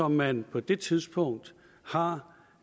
man på det tidspunkt har